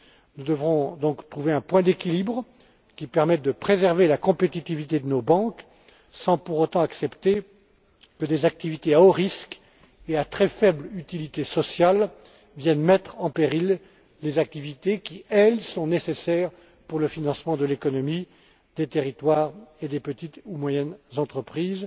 Nous devrons donc trouver un point d'équilibre qui permette de préserver la compétitivité de nos banques, sans pour autant accepter que des activités à haut risque et à très faible utilité sociale viennent mettre en péril les activités qui, elles, sont nécessaires pour le financement de l'économie, des territoires et des petites ou moyennes entreprises.